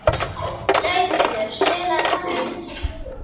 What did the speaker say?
Laugheiður, spilaðu tónlist.